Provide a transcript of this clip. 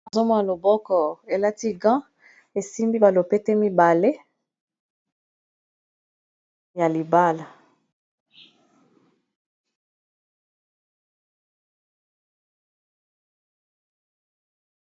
Azomona loboko elati qan esimbi balopete mibale ya libala.